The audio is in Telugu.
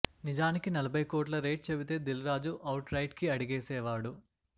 నిజానికి నలభై కోట్ల రేట్ చెబితే దిల్ రాజు అవుట్ రైట్కి అడిగేసేవాడు